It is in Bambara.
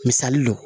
Misali don